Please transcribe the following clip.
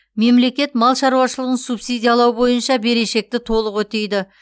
мемлекет мал шаруашылығын субсидиялау бойынша берешекті толық өтейді